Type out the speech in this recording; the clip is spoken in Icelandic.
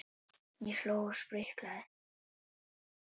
Ég hló og spriklaði.